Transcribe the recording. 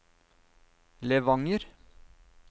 Levanger